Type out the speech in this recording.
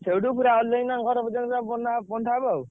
ସେଇଠୁ ପୁରା ଅଲିଭାଇନା ଙ୍କ ଘର ପର୍ଯ୍ୟନ୍ତ ପୁରା ବନ୍ଧା ହବ ଆଉ।